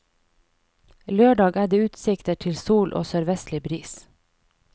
Lørdag er det utsikter til sol og sørvestlig bris.